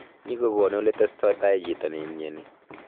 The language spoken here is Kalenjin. Nyigogonu oletestotai chito neimnyani